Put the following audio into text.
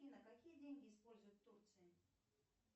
афина какие деньги используют в турции